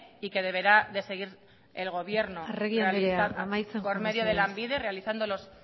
y que deberá seguir el gobierno arregi andrea amaitzen joan mesedez por medio de lanbide realizando los